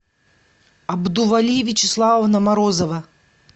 абдували вячеславовна морозова